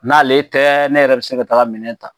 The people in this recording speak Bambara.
N' ale tɛ ne yɛrɛ bi se ka taa minɛn ta.